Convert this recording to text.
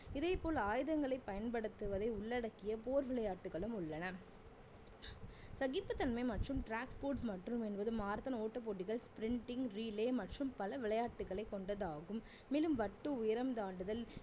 இதேபோல் ஆயுதங்களை பயன்படுத்துவதை உள்ளடக்கிய போர் விளையாட்டுகளும் உள்ளன சகிப்புத்தன்மை மற்றும் மற்றும் என்பது marathon ஓட்டபோட்டிகள் relay மற்றும் பல விளையாட்டுகளை கொண்டதாகும் மேலும் வட்டு, உயரம் தாண்டுதல்